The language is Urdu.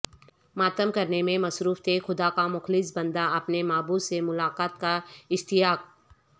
ماتم کرنے میں مصروف تھے خدا کا مخلص بندہ اپنے معبود سے ملاقات کااشتیاق